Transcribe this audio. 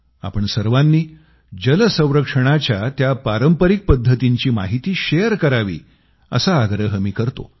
आपण सर्वांनी जलसंरक्षणाच्या त्या पारंपरिक पद्धतींची माहिती शेअर करावी असा आग्रह मी करतो